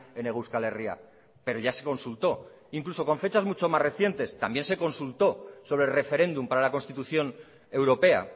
en hego euskal herria pero ya se consultó incluso con fechas mucho más recientes también se consulto sobre referéndum para la constitución europea